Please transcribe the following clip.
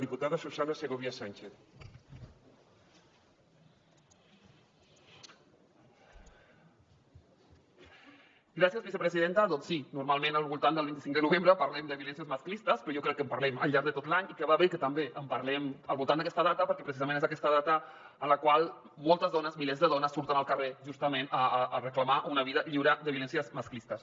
doncs sí normalment al voltant del vint cinc de novembre parlem de violències masclistes però jo crec que en parlem al llarg de tot l’any i que va bé que també en parlem al voltant d’aquesta data perquè precisament és aquesta data en la qual moltes dones milers de dones surten al carrer justament a reclamar una vida lliure de violències masclistes